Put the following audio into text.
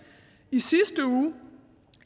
i sidste uge